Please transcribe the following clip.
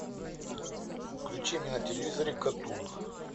включи мне на телевизоре катун